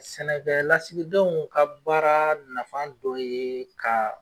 Sɛnɛkɛ lasigidenw ka baara nafa dɔ ye ka